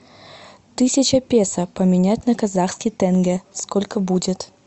тысяча песо поменять на казахский тенге сколько будет